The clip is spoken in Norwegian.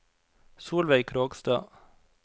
Solveig Krogstad